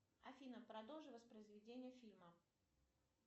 афина продолжи воспроизведение фильма